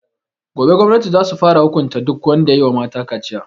Gobe gwamnati za su fara hukunta duk wanda yayi wa mata kaciya